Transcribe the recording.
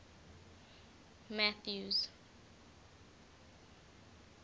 mathews